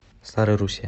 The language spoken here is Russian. старой руссе